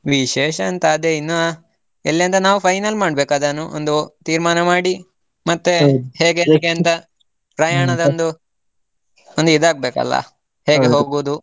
ವಿಶೇಷ ಎಂಥ ಅದೇ ಇನ್ನ ಎಲ್ಲಿ ಅಂತ ನಾವು final ಮಾಡ್ಬೇಕು ಅದನ್ನು ಒಂದು ತೀರ್ಮಾನ ಮಾಡಿ ಹೇಗೆ ಅಂತ ಒಂದು, ಒಂದು ಇದಾಗ್ಬೇಕಲ್ಲ? ಹೋಗೋದು?